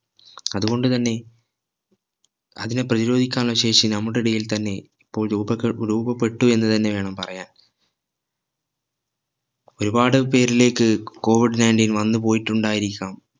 അതുകൊണ്ട് തന്നെ അതിനെ പ്രധിരോധിക്കാനുള്ള ശേഷി നമ്മുടെ ഇടയിൽ തന്നെ ഇപ്പോൾ രൂപക്കെ രൂപപ്പെട്ടു എന്ന് തന്നെ വേണം പറയാൻ ഒരുപാട് പേരിലേക്ക് COVID-19 വന്നുപോയിട്ടുണ്ടായിരിക്കാം